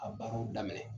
A baaraw daminɛ